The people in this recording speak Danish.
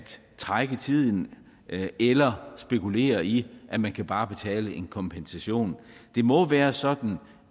trække tiden eller spekulere i at man bare kan betale en kompensation det må være sådan